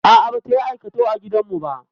A'a, bata yi aikatau a gidan mu ba.